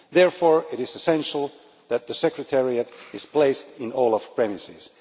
Therefore, it is essential that the Secretariat is placed in OLAF premises.